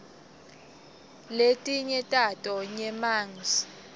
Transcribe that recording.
letinye tato nyemangs